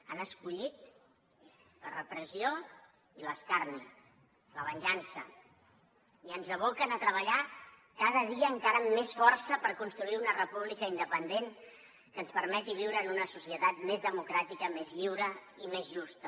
han escollit la repressió i l’escarni la venjança i ens aboquen a treballar cada dia encara amb més força per construir una república independent que ens permeti viure en una societat més democràtica més lliure i més justa